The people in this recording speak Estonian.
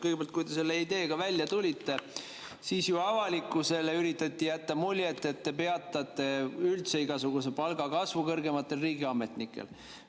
Kõigepealt, kui te selle ideega välja tulite, siis avalikkusele üritati jätta muljet, et te peatate üldse igasuguse palgakasvu kõrgematel riigiametnikel.